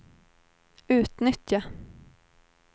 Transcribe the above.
utnyttja